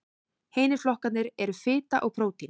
hinir flokkarnir eru fita og prótín